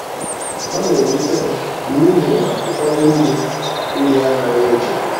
Ọ na-ewute m n'ihi na ụfọdụ ndị ndị anaghị eche.